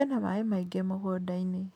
Kwĩna maaĩ maingĩ mũgũnda-inĩ